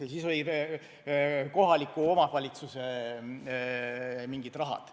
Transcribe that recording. Teiseks oli kohaliku omvalitsuse mingid rahad.